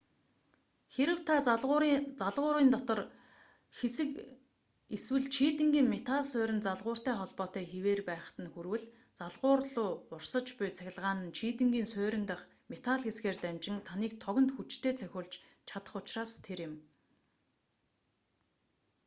хэрэв та залгуурын дотор хэсэг эсвэл чийдэнгийн метал сууринд залгууртай холбоотой хэвээр байхад нь хүрвэл залгуур луу урсаж буй цахилгаан нь чийдэнгийн суурин дахь метал хэсгээр дамжин таныг тогонд хүчтэй цохиулж чадах учраас тэр юм